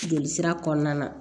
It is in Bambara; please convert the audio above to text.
Joli sira kɔnɔna na